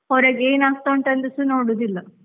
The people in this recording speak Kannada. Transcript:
ಹೊರಗೆ ಏನ್ ಆಗ್ತಾ ಉಂಟ್ ಅಂತಸಾ ನೋಡುದಿಲ್ಲ.